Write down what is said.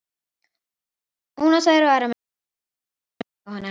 Ónotaðir varamenn: Kristinn Geir Guðmundsson, Jóhann Helgason.